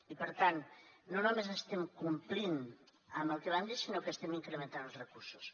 i per tant no només estem complint amb el que vam dir sinó que estem incrementant els recursos